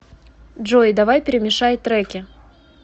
джой давай перемешай треки